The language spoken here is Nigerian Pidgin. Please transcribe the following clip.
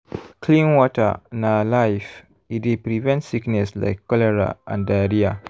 clean water na life e dey prevent sickness like cholera and diarrhea.